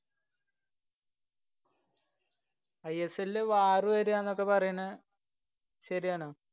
I S എല്ലില് war വരുവാന്നൊക്കെ പറയണ് ശരിയാണോ?